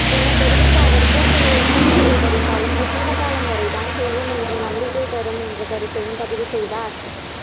ஏன தெரிவித்த அவர் பூக்களை எத்தனை முறை பறித்தாலும் வசந்தகாலம் வரத்தான் செய்யும் என்ற நம்பிக்கை தரும் கருத்தையும் பதிவுசெய்தார்